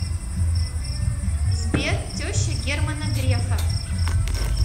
сбер теща германа грефа